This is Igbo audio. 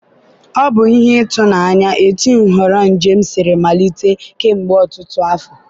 ọ bụ ihe ịtụnanya etu nhọrọ njem siri malite kemgbe ọtụtụ afọ.